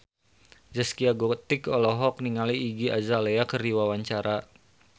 Zaskia Gotik olohok ningali Iggy Azalea keur diwawancara